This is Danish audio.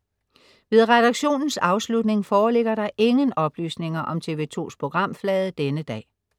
Ved redaktionens afslutning foreligger der ingen oplysninger om TV2s programflade denne dag